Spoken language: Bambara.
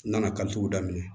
N nana kalituguw daminɛ